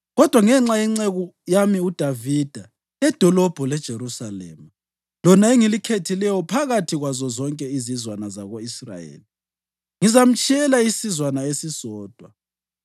Kodwa ngenxa yenceku yami uDavida ledolobho leJerusalema, lona engilikhethileyo phakathi kwazo zonke izizwana zako-Israyeli, ngizamtshiyela isizwana esisodwa.